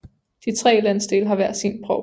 De tre landsdele har hver sin provst